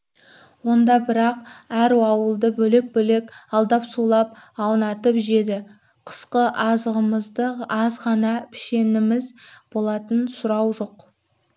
онда бірақ әр ауылды бөлек-бөлек алдап-сулап аунатып жеді қысқы азығымыз аз ғана пішеніміз болатын сұрау жоқ